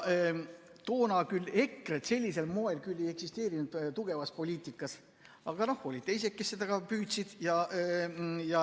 Toona küll EKRE‑t sellisel moel ei eksisteerinud tugevalt poliitikas, aga olid teised, kes seda püüdsid teha.